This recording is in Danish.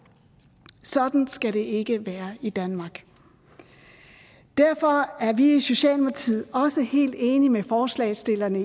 sådan skal det ikke være i danmark derfor er vi i socialdemokratiet også helt enige med forslagsstillerne